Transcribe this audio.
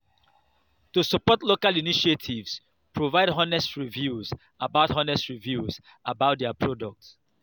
to support local initiatives provide honest review about honest review about their product